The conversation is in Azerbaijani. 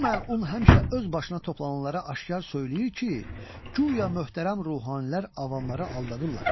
Bu məlun həmişə öz başına toplananlara aşkar söyləyir ki, guya möhtərəm ruhanilər avamları aldadırlar.